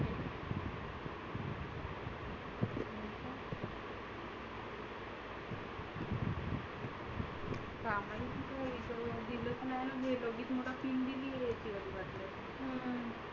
हा तु म्हण काम नाही दिले नाही गेल्या तीन दिवस मुलां गेला येतो